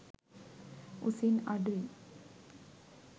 උසින් අඩුයි.